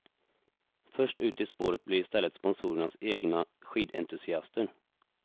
Först ut i spåret blir istället sponsorernas egna skidentusiaster.